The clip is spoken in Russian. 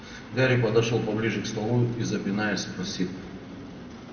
гарри подошёл поближе к столу и запинаясь спросил